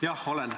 Jah, olen.